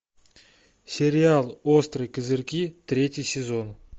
сериал острые козырьки третий сезон